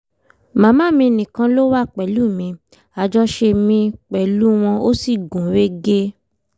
màmá mi nìkan ló wà pẹ̀lú mi àjọṣe mi pẹ̀lú wọn ò sì gún régé